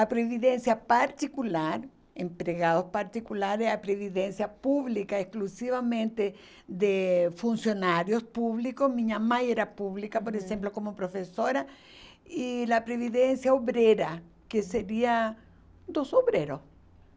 A previdência particular, empregados particulares, a previdência pública, exclusivamente de funcionários públicos, minha mãe era pública, por exemplo, como professora, e a previdência obrera, que seria dos obreiros.